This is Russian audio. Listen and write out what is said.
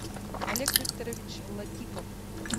олег викторович латипов